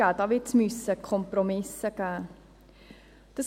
Da wird es Kompromisse geben müssen.